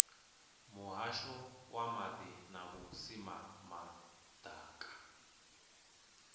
muhasho wa maḓi na vhusimama ḓaka